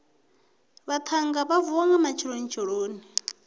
vhaṱhannga vha vuwa nga matshelonitsheloni